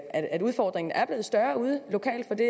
at udfordringen er blevet større ude lokalt for det